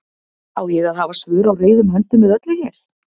Á ég að hafa svör á reiðum höndum við öllu hér?